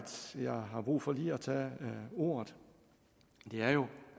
jeg har brug for lige at tage ordet er jo